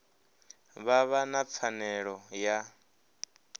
vha vha na pfanelo ya